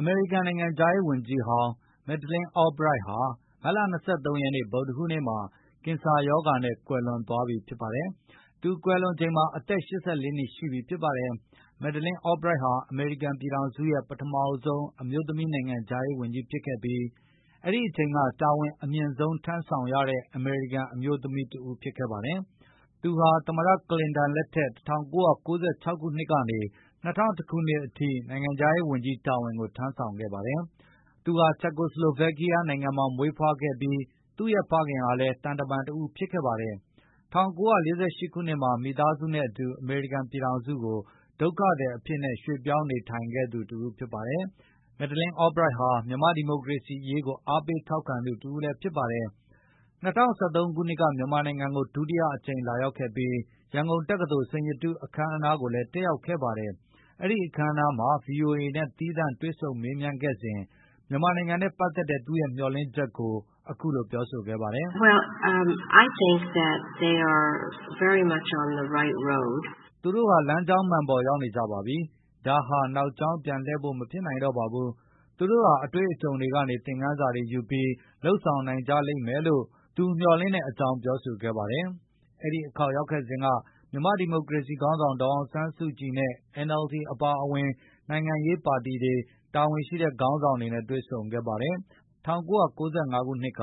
အမေရိကန်နိုင်ငံခြားရေးဝန်ကြီးဟောင်း မက်ဒလင်း အောဘရိုက် (Madeleine Albright) ဟာ မတ်လ ၂၃ ရက် ဗုဒ္ဓဟူးနေ့ ကင်ဆာရောဂါနဲ့ ကွယ်လွန်သွားပါတယ်။ သူကွယ်လွန်ချိန်မှာ အသက် ၈၄ နှစ်ရှိပြီဖြစ်ပါတယ်။ မက်ဒလင်း အောဘရိုက်ဟာ အမေရိကန်ပြည်ထောင်စုရဲ့ ပထမဆုံး အမျိုးသမီးနိုင်ငံခြား ရေးဝန်ကြီးဖြစ်ခဲ့ပြီး၊ အဲဒီအချိန်ကတာဝန်အမြင့်ဆုံးထမ်းဆောင်ရတဲ့ အမေရိကန်အမျိုး သမီးတဦးဖြစ်ခဲ့ပါတယ်။ သူဟာ သမ္မတ ကလင်တန် လက်ထက် ၁၉၉၆ ခုနှစ် ကနေ ၂၀၀၁ ခုနှစ် အထိ နိုင်ငံခြားရေးဝန်ကြီး တာဝန်ကိုထမ်းဆောင်ခဲ့ပါတယ်။ သူဟာ ချက်ကိုဆလိုဗက်ကီးယားနိုင်ငံမှာ မွေးဖွားခဲ့ပြီး သူ့ရဲ့ဖခင်ဟာလည်း သံတမန်တဦးဖြစ်ခဲ့ပါတယ်။ ၁၉၄၈ ခုနှစ်မှ ာမိသားစုနဲ့အတူ အမေရိကန်ပြည်ထောင်စုကို ဒုက္ခသည်အဖြစ် ပြောင်းရွှေ့နေထိုင်ခဲ့ပါတယ်။ မက်ဒလင်း အောဘရိုက်ဟာ မြန်မာ့ဒီမိုကရေစီအရေးကို အားပေးထောက်ခံခဲ့သူတဦး လည်းဖြစ်ပါတယ်။ သူ ၂၀၁၃ ခုနှစ် မြန်မာနိုင်ငံကို ဒုတိယအကြိမ်လာရောက်ခဲ့ပြီး၊ ရန်ကုန်တက္ကသိုလ် စိန်ရတုအခမ်းအနားကိုလည်း တက်ရောက်ခဲ့ပါတယ် ။ အဲဒီအခမ်းအနားမှာVOA နဲ့ သီးသန့် တွေ့ဆုံမေးမြန်းခဲ့စဉ်မြန်မာနိုင်ငံနဲ့ပတ်သက်တဲ့သူ့ရဲမျှော်လင့်ချက်ကို အခုလိုပြောဆိုခဲ့ပါတယ်။ “သူတို့ဟာ လမ်းကြောင်းမှန်ပေါ်ရောက်နေကြပါပြီ။ ဒါဟာနောက်ကြောင်းပြန်လှည်ဖို့ မဖြစ်နိုင်တော့ပါဘူး။ သူတို့ဟာအတွေ့အကြုံတွေကနေ သင်ခန်းစာတွေယူပြီး၊ လုပ်ဆောင်နိုင်ကြလိမ့်မယ်လို့” သူမျှော်လင့်တဲ့အကြောင်းပြောဆိုခဲ့ပါတယ်။ အဲဒီအခေါက်ရောက်ခဲ့စဉ်က မြန်မာ့ဒီမိုကရေစီခေါင်းဆောင် ဒေါ်အောင်ဆန်းစုကြည် နဲ့ NLD အပါအဝင်၊ နိုင်ငံရေးပါတီတွေ၊ ခေါင်းဆောင်တွေနဲ့တွေ့ဆုံခဲ့ပါတယ်။ ၁၉၉၅ ခုနှစ်က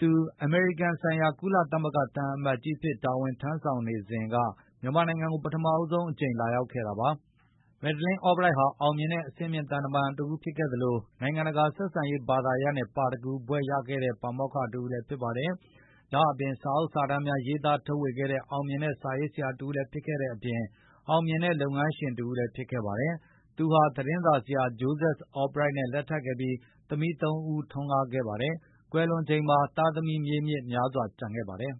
သူ အမေရိကန်ဆိုင်ရာ ကုလသမဂ္ဂသံအမတ်ကြီး အဖြစ်တာဝန်ထမ်းဆောင်ခဲ့စဉ်က မြန်မာနိုင်ငံကို ပထမဆုံးအကြိမ် လာရောက်ခဲ့ပါတယ်။ မယ်ဒလင်းအောဘရိုက် ဟာ အောင်မြင်တဲ့ အဆင့်မြင့် သံတမန်တဦးဖြစ်ခဲ့သလို နိုင်ငံတကာဆက်ဆံရေး ဘာသာရပ်နဲ့ PHD ပါရဂူဘွဲ့ ရခဲ့သူ ပါမောက္ခတဦးလည်းဖြစ်ပါတယ်။ ဒါ့အပြင်စာအုပ်စာတမ်းများရေးသား ထုတ်ဝေခဲ့တဲ့ အောင်မြင်တဲ့ စာရေးဆရာတဦးလည်းဖြစ်တဲ့အပြင် အောင်မြင်တဲ့လုပ်ငန်းရှင်တဦးလည်း ဖြစ်ခဲ့ပါတယ်။ သူဟာသတင်းစာဆရာ ဂျိုးဇက် အောဘရိုက် နဲ့ လက်ထပ်ခဲ့ပြီး သမီး ၃ ဦးထွန်းကားခဲ့ပါတယ်။ သူကွယ်လွန်ချိန်မှာ သားသမီးမြေးမြစ်များစွာကျန်ခဲ့ပါတယ် ။